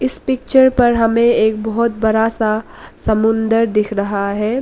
इस पिक्चर पर हमें एक बहोत बड़ा सा समुद्र दिख रहा है।